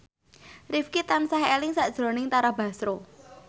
Rifqi tansah eling sakjroning Tara Basro